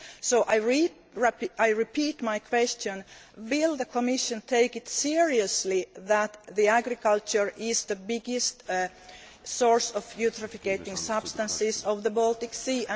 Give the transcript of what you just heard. So I repeat my question will the Commission take it seriously that agriculture is the biggest source of eutrophicating substances in the Baltic Sea?